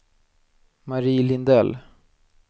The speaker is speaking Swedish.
Marie Lindell